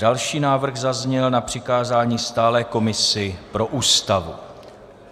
Další návrh zazněl na přikázání stálé komisi pro Ústavu.